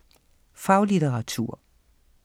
Faglitteratur